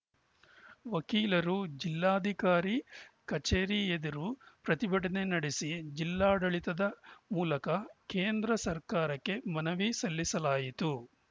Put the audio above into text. ವಕೀಲರು ಜಿಲ್ಲಾಧಿಕಾರಿ ಕಚೇರಿ ಎದುರು ಪ್ರತಿಭಟನೆ ನಡೆಸಿ ಜಿಲ್ಲಾಡಳಿತದ ಮೂಲಕ ಕೇಂದ್ರ ಸರ್ಕಾರಕ್ಕೆ ಮನವಿ ಸಲ್ಲಿಸಲಾಯಿತು